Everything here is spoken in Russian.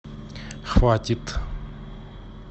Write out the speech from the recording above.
хватит